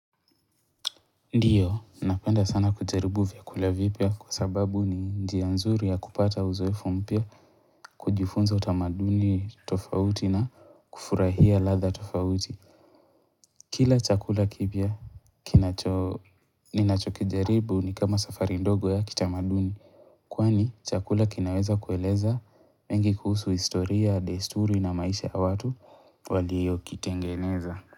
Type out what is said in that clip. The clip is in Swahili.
Ndiyo, napenda sana kujaribu vyakula vipya kwa sababu ni njia nzuri ya kupata uzoefu mpya, kujifunza utamaduni tofauti na kufurahia latha tofauti. Kila chakula kipya kinacho ninachokijaribu ni kama safari ndogo ya kitamaduni. Kwani chakula kinaweza kueleza mengi kuhusu historia, desturi na maisha ya watu waliyo kitengeneza.